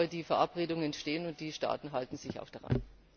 Aber die Verabredungen stehen, und die Staaten halten sich auch daran.